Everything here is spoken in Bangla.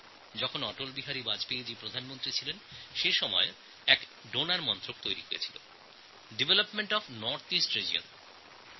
যখন অটল বিহারী বাজপেয়ীজী প্রধানমন্ত্রী ছিলেন তখন ডেভেলপ্মেন্ট অফ্ নর্থইস্ট রিজিয়ন অর্থাৎ ডোনের ডোনার নামে একটি পৃথক মন্ত্রক তৈরি হয়